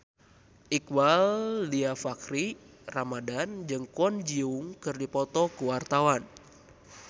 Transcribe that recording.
Iqbaal Dhiafakhri Ramadhan jeung Kwon Ji Yong keur dipoto ku wartawan